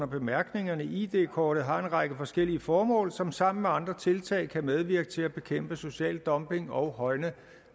bemærkningerne id kortet har en række forskellige formål som sammen med andre tiltag kan medvirke til at bekæmpe social dumping og højne